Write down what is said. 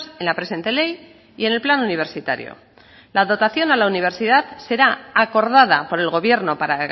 en la presente ley y en el plan universitario la dotación a la universidad será acordada por el gobierno para